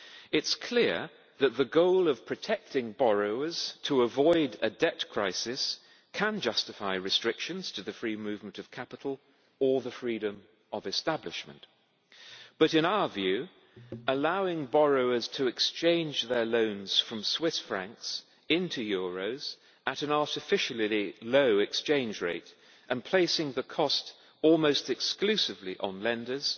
It is clear that the goal of protecting borrowers to avoid a debt crisis can justify restrictions to the free movement of capital or the freedom of establishment, but in our view, allowing borrowers to exchange their loans from Swiss francs into euros at an artificially low exchange rate and placing the cost almost exclusively on lenders